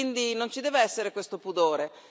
Quindi non ci deve essere questo pudore.